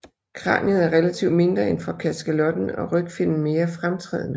Kraniet er relativt mindre end for kaskelotten og rygfinnen mere fremtrædende